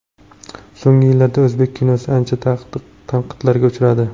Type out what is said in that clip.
So‘nggi yillarda o‘zbek kinosi ancha tanqidlarga uchradi.